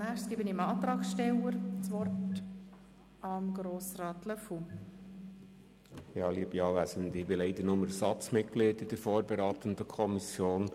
Ich bin leider lediglich Ersatzmitglied in der vorberatenden Kommission.